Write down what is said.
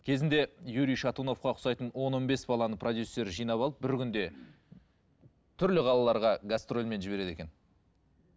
кезінде юрий шатуновқа ұқсайтын он он бес баланы продюссері жинап алып бір күнде түрлі қалаларға гастрольмен жібереді екен